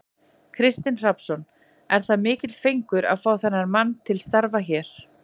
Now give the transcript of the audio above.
Kristinn Hrafnsson: Er það mikill fengur að fá þennan mann til starfa hér?